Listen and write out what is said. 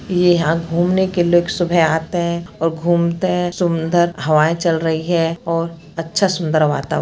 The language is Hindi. यहाँ घूमने के लिए लोग सुबह आते है और घूमते है सुंदर हवाई चल रही है और अच्छा सुंदर वातावरण--